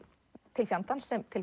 til fjandans sem til